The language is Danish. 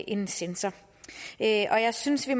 en censor og jeg synes at